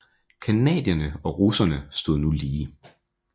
Canadierne og russerne stod nu lige